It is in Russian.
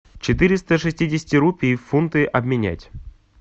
четыреста шестидесяти рупий в фунты обменять